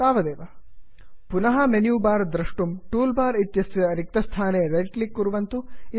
तावदेव160 पुनः menu bar द्रष्टुं tool bar इत्यस्य रिक्तस्थाने रैट् क्लिक् कुर्वन्तु